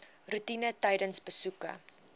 roetine tydens besoeke